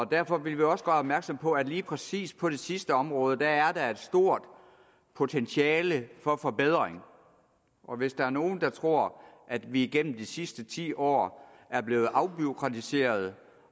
derfor vil vi også gøre opmærksom på at lige præcis på det sidste område er der et stort potentiale for forbedring og hvis der er nogen der tror at vi igennem de sidste ti år er blevet afbureaukratiseret